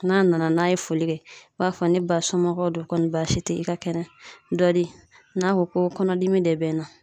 N'a nana n'a ye foli kɛ i b'a fɔ ne ba somɔgɔw don kɔni baasi te yen i ka kɛnɛ dɔ di n'a ko ko kɔnɔdimi de bɛ n na